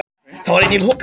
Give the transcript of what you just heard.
Þá var einnig þoka